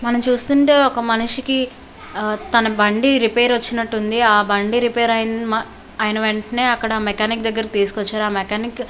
మనం చూస్తుంటే ఒక మనిషికి తన బండి రిపేర్ వచ్చినట్టుంది ఆ బండి రిపేర్ అయిన వెంటనే అక్కడ మెకానిక్ దగ్గరకు తీసుకువచ్చారు ఆ మెకానిక్ --